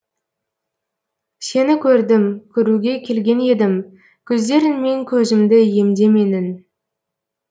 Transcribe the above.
сені көрдім көруге келген едім көздеріңмен көзімді емде менің